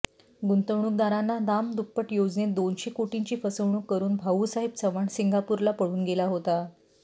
गुंतवणूकदारांना दामदुप्पट योजनेत दोनशे कोटींची फसवणूक करुन भाऊसाहेब चव्हाण सिंगापूरला पळून गेला होता